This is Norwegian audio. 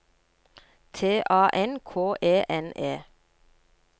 T A N K E N E